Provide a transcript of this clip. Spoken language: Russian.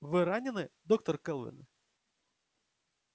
вы ранены доктор кэлвин